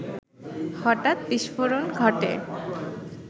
হঠাৎ বিস্ফোরণ ঘটে